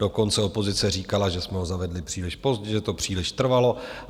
Dokonce opozice říkala, že jsme ho zavedli příliš pozdě, že to příliš trvalo.